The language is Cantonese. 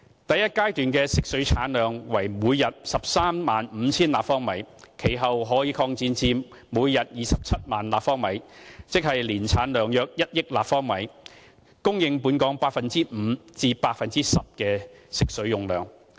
第一階段的食水產量為每天 135,000 立方米，其後可擴展至每天27萬立方米，即年產量約1億立方米，提供本港 5% 至 10% 的食水用量。